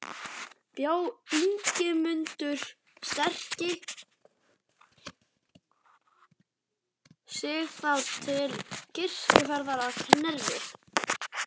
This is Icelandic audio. Bjó Ingimundur sterki sig þá til kirkjuferðar að Knerri.